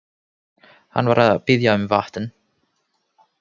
Hann var að biðja um vatn.